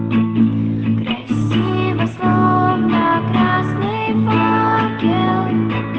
днями